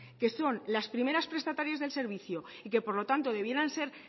que son las primeras prestatarias del servicio y que por lo tanto debieran ser